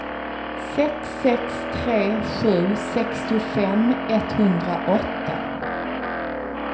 sex sex tre sju sextiofem etthundraåtta